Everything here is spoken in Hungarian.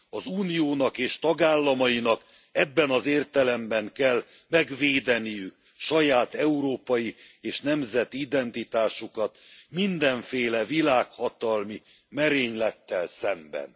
Az Uniónak és tagállamainak ebben az értelemben kell megvédeniük saját európai és nemzeti identitásukat mindenféle világhatalmi merénylettel szemben.